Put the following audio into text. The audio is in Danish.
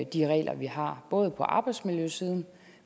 de regler vi har både på arbejdsmiljøsiden